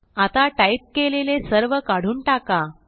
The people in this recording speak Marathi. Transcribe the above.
आता टाईप केलेले सर्व काढून टाका